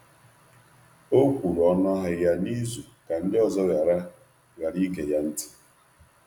Ọ tụrụ ọnụ ahịa ya nwayọọ ka ndị ọzọ ghara ịnụ mkparịta ụka ahụ.